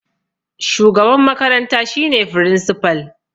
Shugaban makaranta shi ne firinsipal